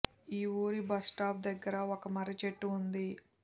ఈ వూరి బస్స్టాప్ దగ్గర ఒక మర్రి చెట్టు ఉంది